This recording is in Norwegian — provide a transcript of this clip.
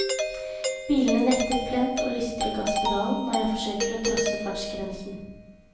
Bilen nekter plent å lystre gasspedalen når jeg forsøker å trosse fartsgrensen.